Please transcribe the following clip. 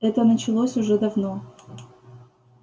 это началось уже давно